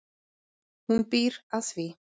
Hún býr að því.